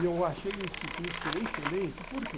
E eu achei esse curso excelente, por quê?